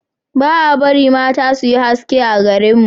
ba a barin mata su yi haski a garin mu